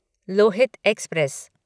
Lohit express